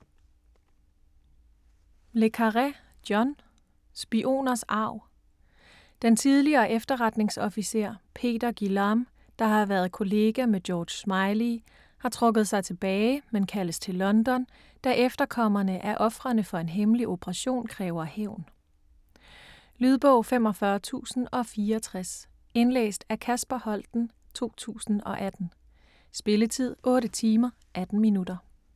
Le Carré, John: Spioners arv Den tidligere efterretningsofficer Peter Guillam, der har været kollega med George Smiley, har trukket sig tilbage, men kaldes til London, da efterkommerne af ofrene for en hemmelig operation kræver hævn. Lydbog 45067 Indlæst af Kasper Holten, 2018. Spilletid: 8 timer, 18 minutter.